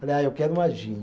Falei, ah, eu quero uma gin.